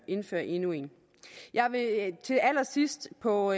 indføre endnu en jeg vil til allersidst på